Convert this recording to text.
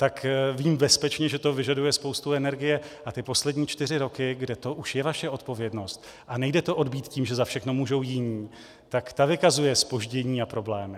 Tak vím bezpečně, že to vyžaduje spoustu energie, a ty poslední čtyři roky, kde to už je vaše odpovědnost a nejde to odbýt tím, že za všechno můžou jiní, tak ta vykazuje zpoždění a problémy.